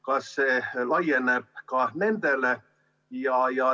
Kas see laieneb ka nendele?